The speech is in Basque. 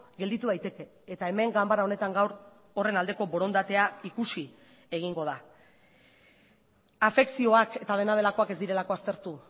gelditu daiteke eta hemen ganbara honetan gaur horren aldeko borondatea ikusi egingo da afekzioak eta dena delakoak ez direlako aztertu